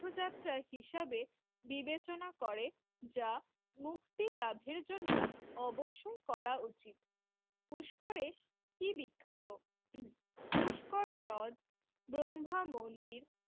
তীর্থযাত্রা হিসাবে বিবেচনা করে যা মুক্তি লাভের জন্য অবশ্যই করা উচিত পুষ্করে কি বিখ্যাত? পুষ্কর হ্রদ ব্রহ্মা মন্দির